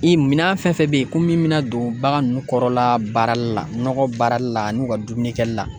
I minɛn fɛn fɛn bɛ yen ko min bɛna don bagan nunnu kɔrɔla baarali la, nɔgɔ baarali la n'u ka dumuni kɛli la.